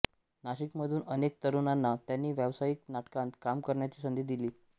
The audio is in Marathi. नाशिकमधून अनेक तरुणांना त्यांनी व्यावसायिक नाटकांत काम करण्याची संधी दिली